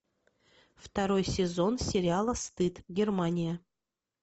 второй сезон сериала стыд германия